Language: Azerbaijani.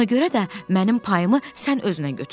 Ona görə də mənim payımı sən özünə götür.